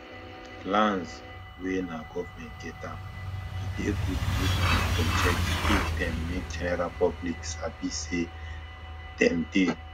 lands wen nah government get am e dey good make we for check if dem make general public sabi say dem dey